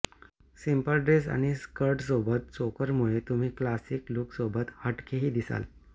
simple dress आणि स्कर्टसोबत चोकरमुळे तुम्ही क्लासी लूकसोबत हटकेही दिसाल